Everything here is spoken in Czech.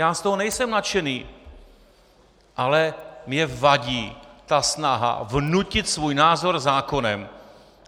Já z toho nejsem nadšený, ale mně vadí ta snaha vnutit svůj názor zákonem.